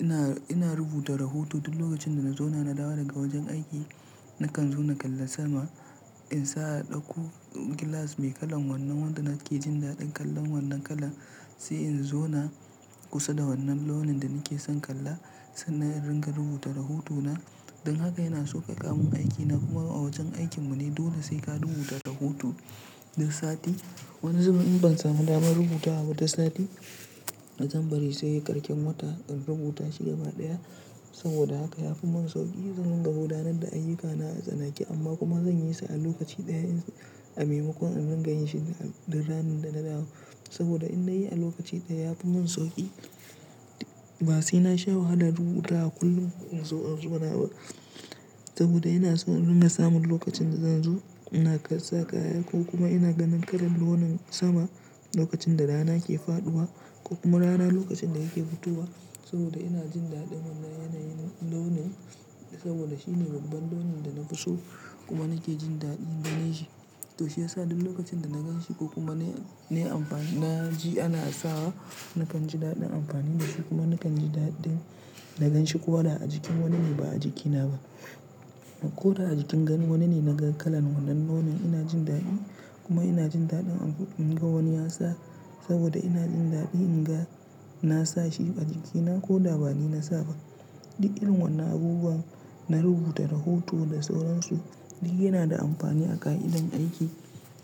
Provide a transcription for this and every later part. Ina, ina rubuta rahoto duk lokacin da na zauna na dawo daga wajen aiki. Nakan zauna kallon sama in sa a ɗaku gilas mai kalan wannan wanda nake jin daɗin kallon wannan kala. Sai in zauna kusa da wannan launin da nake son kalla sannan in rinka rubuta rahotona. Don haka yana sauƙaƙa mun aikina kuma a wajen aikin mu ne dole sai ka rubuta rahoto duk sati. Wani zaman in ban samu daman rubutawa ba duk sati, a jan bari sai ƙarshen wata in rubuta shi gaba ɗaya. Saboda haka yafi mun sauƙi zan rinka gudanar da ayyukana a tsanake amma kuma zan yisu a lokaci ɗaya in sa a maimako na ringa yin shi da ranar da na dawo. Saboda in na yi a lokaci ɗaya yafi mun sauƙi ba sai in sha wahala rubutawa kullum in zo zauna ba. Saboda ina so in ringa samun lokacin da zan zo naga saka haya ko kuma ina ganin kalan launin sama lokacin da rana ke faɗuwa ko kuma rana lokacin da yake fitowa. Saboda ina jin daɗin wannan yanayin launi saboda shine babban launin da na fi so kuma nake jin daɗin ganin shi. To shi yasa duk lokacin da na gan shi ko kuma ne, nayi amfa, na ji ana sa wa nakan ji daɗin amfani da shi kuma nakan ji daɗin na gan shi ko da a jikin wani ne ba a jikina ba. Ko da a jikin ganin wani ne na ga kalan wannan launin ina jin daɗi kuma ina jin daɗin inga wani ya sa saboda ina jin daɗi in ga na sa shi a jikina ko da bani na sa ba. Duk irin wannan abubuwan na rubuta rahoto da sauransu duk yana da amfani a ƙa' idon aiki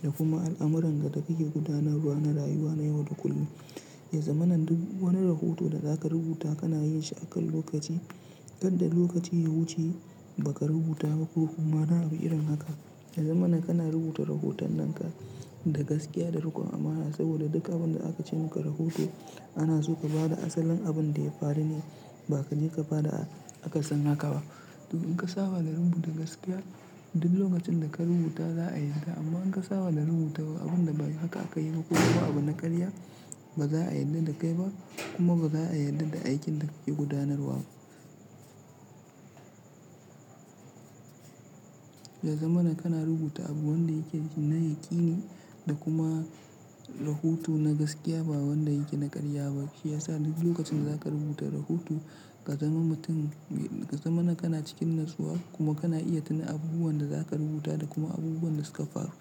da kuma al'amuran da kake gudanarwa na rayuwa na yau da kullum. Ya zamana duk wani rahoto da zaka rubuta kana yin shi akan lokaci. Kar dai lokacin ya wuce baka rubuta ba ko kuma wani abu irin haka. Yazama kana rubuta rahoton nan ka da gaskiya da riƙon amana saboda duk abin da aka ce muka rahoto ana so ka bada asalin abin da ya faru ne ba ka je ka bada akasin haka ba. Duk in ka saba da rubuta gaskiya duk lokacin da ka rubuta za a yarda amma in ka saba da rubuta abun da ba haka aka yi ba ko kuma abu na ƙarya ba za a yarda da kai ba kuma ba za a yarda da aikin da kake gudanarwa ba. Ya zamana kana rubuta abu wanda yake ji na yaƙini da kuma rahoto na gaskiya ba wanda yake na ƙarya ba. Shi yasa duk lokacin da zaka rubuta rahoto ka zama mutum, ka zama na kana cikin natsuwa kuma kana iya tuna abubuwan da zaka rubuta da kuma abubuwan da suka faru.